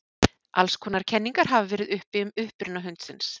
alls konar kenningar hafa verið uppi um uppruna hundsins